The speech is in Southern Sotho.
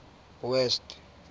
west